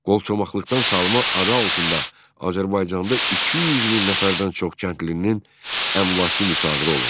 Qolçomaqlıqdan salma adı altında Azərbaycanda 200 min nəfərdən çox kəndlinin əmlakı müsadirə olundu.